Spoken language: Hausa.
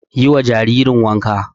Yi wa jinjirin wanka.